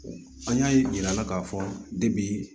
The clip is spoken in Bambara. An y'a ye jir'a la k'a fɔ debi